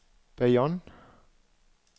Bayonne